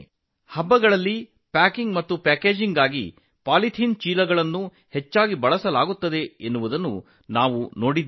ಹಬ್ಬ ಹರಿದಿನಗಳಲ್ಲಿ ಪ್ಯಾಕಿಂಗ್ ಮತ್ತು ಪ್ಯಾಕೇಜಿಂಗ್ಗೆ ಪಾಲಿಥಿನ್ ಚೀಲಗಳನ್ನು ಹೆಚ್ಚಾಗಿ ಬಳಸುವುದನ್ನು ನಾವು ನೋಡಿದ್ದೇವೆ